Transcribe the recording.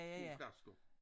Kun flasker